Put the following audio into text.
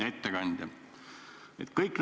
Hea ettekandja!